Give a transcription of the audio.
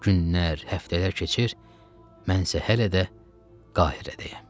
Günlər, həftələr keçir, mən isə hələ də Qahirədəyəm.